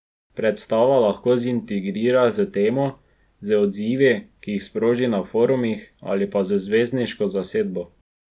Predstava lahko zintrigira s temo, z odzivi, ki jih sproži na forumih, ali pa z zvezdniško zasedbo.